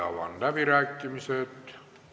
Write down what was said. Avan läbirääkimised.